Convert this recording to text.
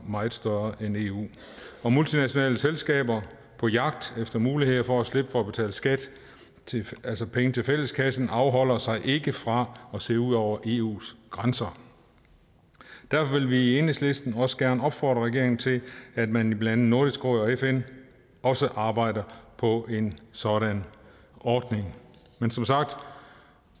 meget større end eu og multinationale selskaber på jagt efter muligheder for at slippe for at betale skat altså penge til fælleskassen afholder sig ikke fra at se ud over eus grænser derfor vil vi i enhedslisten også gerne opfordre regeringen til at man i blandt andet nordisk råd og fn også arbejder på en sådan ordning men som sagt